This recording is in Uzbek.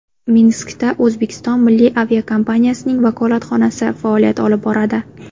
Minskda O‘zbekiston milliy aviakompaniyasining vakolatxonasi faoliyat olib boradi.